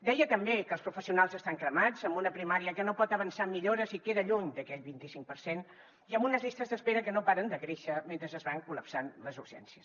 deia també que els professionals estan cremats amb una primària que no pot avançar millores i queda lluny d’aquell vint i cinc per cent i amb unes llistes d’espera que no paren de créixer mentre es van col·lapsant les urgències